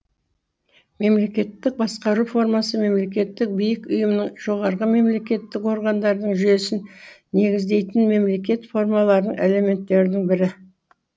мемлекеттік басқару формасы мемлекеттік биік ұйымның жоғарғы мемлекеттік органдардың жүйесін негіздейтін мемлекет формаларының элементерінің бірі